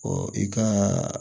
i ka